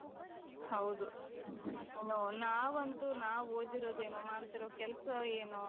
ಹೌದು ನೋ ನಾವಂತೂ ನಾವು ಓದಿರೋದು ಏನೋ ಮಾಡ್ತಿರೋ ಕೆಲಸ ಏನೋ